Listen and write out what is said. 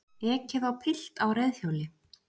Ekið á pilt á reiðhjóli